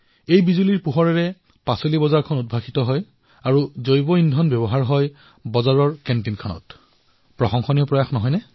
এই বিদ্যুতৰ পৰাই বজাৰখনত বিদ্যুতৰ যোগান ধৰা হয় আৰু যি জৈৱ ইন্ধন প্ৰস্তুত কৰা হয় তাৰ জৰিয়তে বজাৰখনৰ কেণ্টিনৰ খাদ্য প্ৰস্তুত কৰা হয়